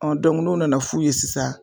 n'o nana f'u ye sisan